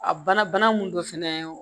A bana mun don fɛnɛ